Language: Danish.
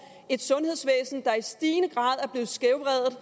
et sundhedsvæsen der i stigende grad er blevet skævvredet